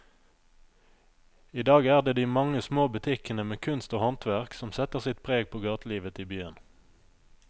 I dag er det de mange små butikkene med kunst og håndverk som setter sitt preg på gatelivet i byen.